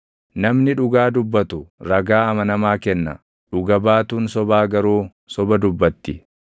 Namnii dhugaa dubbatu ragaa amanamaa kenna; dhuga baatuun sobaa garuu soba dubbatti.